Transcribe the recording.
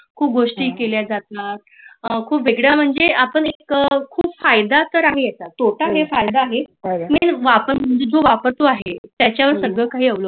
खुप गोष्टी केल्या जातात खुप वेगळ म्हणजे आत्ता खूप फायदा तर आहे अत्ता टोटल हे फायदा आहे लेकीन जो म्हंजे वापरतो आहे त्याचा अरूत आहे